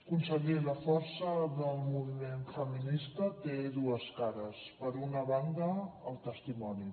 conseller la força del moviment feminista té dues cares per una banda el testimoni